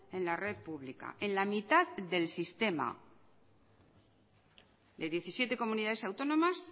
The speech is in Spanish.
en la red pública en la mitad del sistema de diecisiete comunidades autónomas